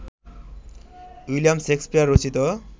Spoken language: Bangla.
উইলিয়াম শেকসপিয়র রচিত